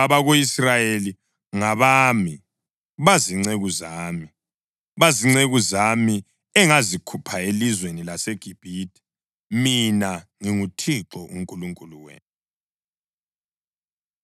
ngoba abako-Israyeli ngabami, bazinceku zami. Bazinceku zami engazikhupha elizweni laseGibhithe. Mina nginguThixo uNkulunkulu wenu.’ ”